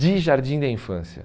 de Jardim da Infância.